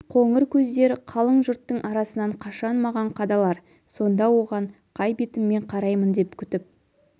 қоңыр көздер қалың жұрттың арасынан қашан маған қадалар сонда оған қай бетіммен қараймын деп күтіп